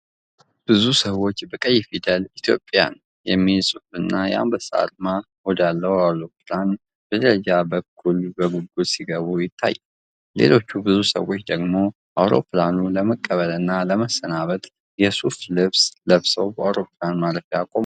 ብዙ ሰዎች በቀይ ፊደል "ኢትዮጵያን" የሚል ጽሑፍና የአንበሳ አርማ ወዳለው አውሮፕላን በደረጃዎች በኩል በጉጉት ሲገቡ ይታያል። ሌሎች ብዙ ሰዎች ደግሞ አውሮፕላኑን ለመቀበልና ለመሰናበት የሱፍ ልብስ ለብሰው በአውሮፕላን ማረፊያው ቆመዋል።